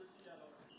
Bir dənə, bir dənə.